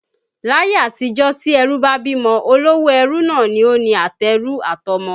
Láyé-àtijó tí ẹrú bá bímọ, olówó ẹrú náà ni ó ni àtẹrú àtọmọ